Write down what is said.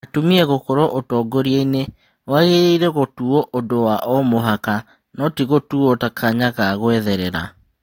Atumia gũkorwo ũtongoria-inĩ wagĩrĩirwo gũtuo ũndũ wa o-mũhaka no tigũtũo ta kanya ga gũetherera.